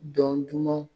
Dɔn duman